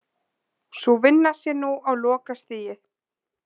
Sú vinna sé nú á lokastigi